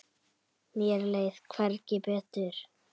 Mér leið hvergi betur.